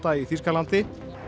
í Þýskalandi